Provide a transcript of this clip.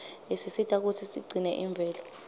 isisita kutsi sigcine imvelo